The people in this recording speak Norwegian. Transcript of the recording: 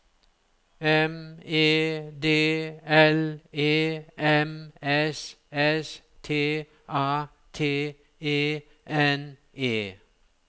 M E D L E M S S T A T E N E